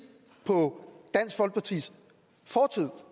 på dansk folkepartis fortid